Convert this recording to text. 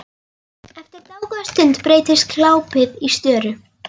Eftir dágóða stund breytist glápið í störu.